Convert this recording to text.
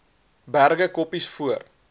berge koppies voor